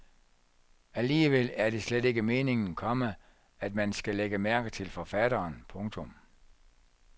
Alligevel er det slet ikke meningen, komma at man skal lægge mærke til forfatteren. punktum